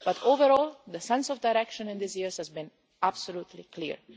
Overall, though, the sense of direction in these years has been absolutely clear.